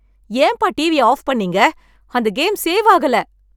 ஏன் பா டிவிய ஆஃப் பண்ணீங்க! அந்த கேம் சேவ் ஆகல.